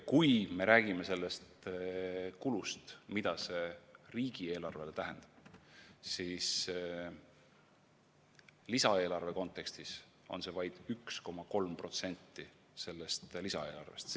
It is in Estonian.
Kui me räägime kulust, mida see riigieelarvele tähendab, siis lisaeelarve kontekstis on see vaid 1,3% lisaeelarvest.